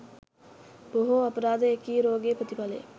බොහෝ අපරාධ එකී රෝගයේ ප්‍රතිඵල ය.